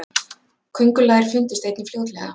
köngulær fundust einnig fljótlega